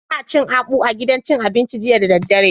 Ina cin akpu a gidan cin abinci jiya da daddare